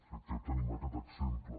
crec que tenim aquest exemple